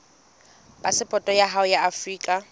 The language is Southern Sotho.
phasepoto ya hao ya afrika